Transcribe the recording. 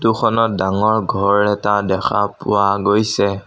টোখনত ডাঙৰ ঘৰ এটা দেখা পোৱা গৈছে।